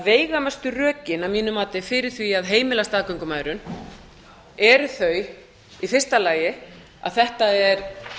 veigamestu rökin að mínu mati fyrir því að heimila staðgöngumæðrun eru þau í fyrsta lagi að þetta er